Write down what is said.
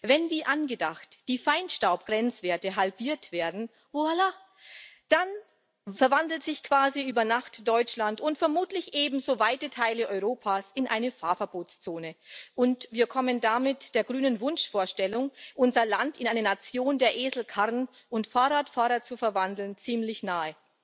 Wenn, wie angedacht, die Feinstaubgrenzwerte halbiert werden, voilà, dann verwandelt sich quasi über Nacht Deutschland und vermutlich ebenso weite Teile Europas in eine Fahrverbotszone, und wir kommen damit der grünen Wunschvorstellung, unser Land in eine Nation der Eselkarren und Fahrradfahrer zu verwandeln, ziemlich nahe.